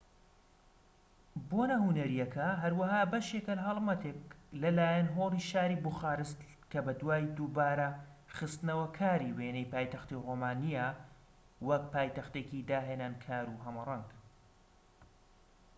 بۆنە هونەرییەکە هەروەها بەشێکە لە هەڵمەتێک لە لایەن هۆڵی شاری بوخارست کە بەدوای دووبارە خستنەوەکاری وێنەی پایتەختی ڕۆمانیایە وەک پایتەختێکی داهێنانکار و هەمەڕەنگ